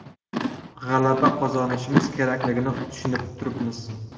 G‘alaba qozonishimiz kerakligini tushunib turibmiz.